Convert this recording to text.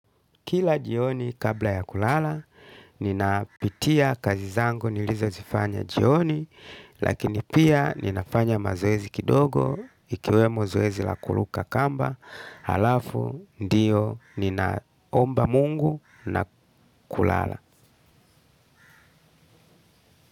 Kila jioni kabla ya kulala napitia kazi zangu nilizozifanya jioni lakini pia ninafanya mazoezi kidogo ikiwemo zoezi la kuruka kamba halafu ndio namuomba mungu na kulala.